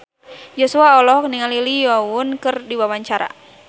Joshua olohok ningali Lee Yo Won keur diwawancara